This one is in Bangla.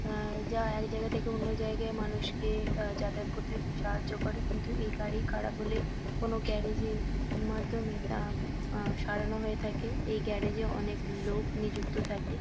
আ যা একজায়গা থেকে অন্য জায়গায় মানুষকে আ যাতায়াত করতে সাহায্য করে কিন্তু এই গাড়ি খারাপ হলে কোনো গ্যারেজ -এর মাধ্যমে তা আ সরানো হয়ে থাকে। এই গ্যারেজ -এ অনেক লোক নিযুক্ত থাকে।